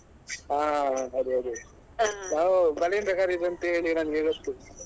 ಹಾ ಅದೇ ಅದೇ ನಾವು ಬಲಿಂದ್ರ ಕರಿಯುದು ಅಂಥೇಳಿ ನಮ್ಗೆ ಗೊತ್ತು.